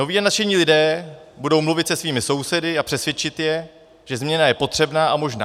Noví a nadšení lidé budou mluvit se svými sousedy a přesvědčí je, že změna je potřebná a možná.